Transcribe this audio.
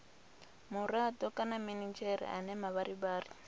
murado kana minidzhere ane mavharivhari